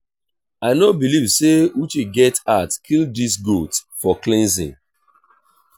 i no believe say uche get heart kill dis goat for cleansing